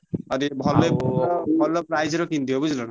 ଆଉ ଦେଖି ଆଉ। ଭଲ price ର କିଣି ଦିଅ ବୁଝିଲ୍ ନା।